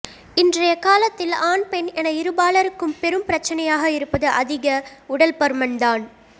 இன்றைய காலத்தில் ஆண் பெண் என இருபாலருக்கும் பெரும் பிரச்சனையாக இருப்பது அதித உடல் பருமன் தான்